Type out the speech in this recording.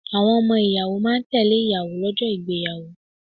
Àwọn ọmọ ìyàwó máa ń tẹ́lẹ̀ ìyàwó lọ́jọ́ ìgbéyàwó.